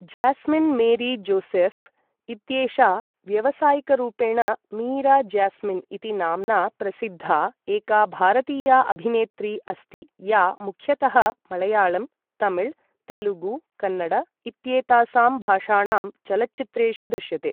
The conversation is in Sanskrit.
ज्यास्मिन् मेरी जोसेफ् इत्येषा व्यावसायिकरूपेण मीरा ज्यास्मिन् इति नाम्ना प्रसिद्धा, एका भारतीया अभिनेत्री अस्ति या मुख्यतः मळयाळम्, तमिळ, तेलुगु, कन्नड इत्येतासां भाषाणां चलच्चित्रेषु दृश्यते।